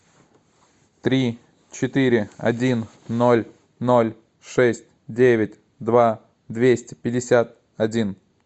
три четыре один ноль ноль шесть девять два двести пятьдесят один